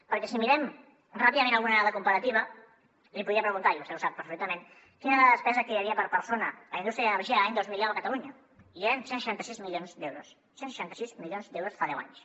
perquè si mirem ràpidament alguna dada comparativa li podria preguntar i vostè ho sap perfectament quina era la despesa que hi havia per persona a indústria i energia l’any dos mil deu a catalunya i eren cent i seixanta sis milions d’euros cent i seixanta sis milions d’euros fa deu anys